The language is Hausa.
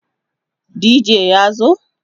dj ya zo?